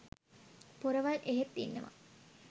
පොරවල් එහෙත් ඉන්නවා.